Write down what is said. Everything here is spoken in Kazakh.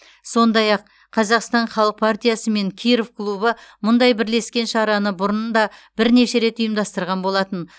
сондай ақ қазақстан халық партиясы мен киров клубы мұндай бірлескен шараны бұрын да бірнеше рет ұйымдастырған болатын